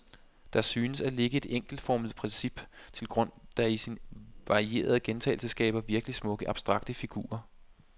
Der synes at ligge et enkelt formelt princip til grund, der i sin varierede gentagelse skaber virkeligt smukke abstrakte figurer.